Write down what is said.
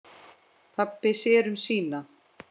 Pabbi sér um sína.